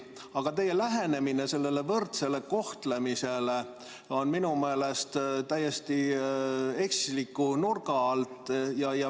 Aga teie lähenemine sellele võrdsele kohtlemisele on minu meelest täiesti eksliku nurga alt.